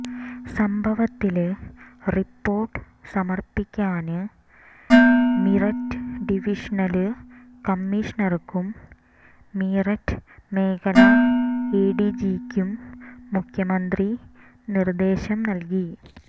സംഭവത്തില് റിപോര്ട്ട് സമര്പ്പിക്കാന് മീററ്റ് ഡിവിഷണല് കമ്മീഷണര്ക്കും മീററ്റ് മേഖല എഡിജിക്കും മുഖ്യമന്ത്രി നിര്ദേശം നല്കി